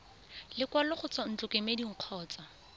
lekwalo go tswa ntlokemeding kgotsa